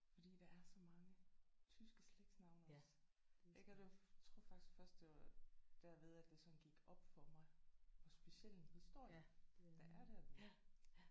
Fordi der er så mange tyske slægtsnavne også jeg kan dog tror faktisk først det var derved at det sådan gik op for mig hvor speciel en historie der er dernede